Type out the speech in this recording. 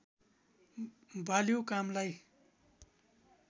बाल्यौ कामलाई